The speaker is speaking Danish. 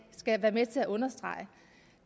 skal være med til at understrege